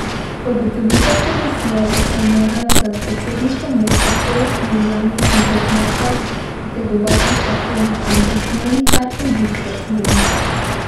Po ugotovitvah komisije bi se morala za predsedniško mesto poleg Julijane Bizjak Mlakar potegovati še Tone Anton Smolnikar in Viktor Smolnikar.